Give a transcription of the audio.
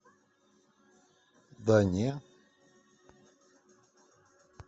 да не